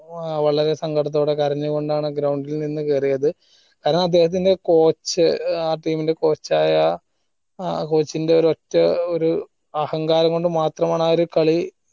ഓ വളരെ സങ്കടത്തൊക്കെ കരഞ്ഞുകൊണ്ടാണ് ground ഇൽ നിന്ന് കേറിയത് കാരണം അദ്ദേഹത്തിന്റെ coach ആ team ന്റെ coach ആയ ആ coach ന്റെ ഒറ്റ ഒരു അഹങ്കാരം കൊണ്ട് മാത്രമാണ് ആ കളി